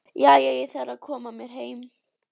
Jæja, ég þarf að fara að koma mér heim